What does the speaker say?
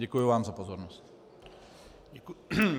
Děkuji vám za pozornost.